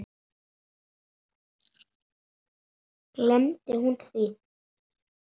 Æ, gleymdu því.